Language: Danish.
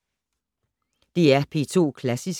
DR P2 Klassisk